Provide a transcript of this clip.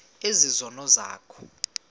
ezi zono zakho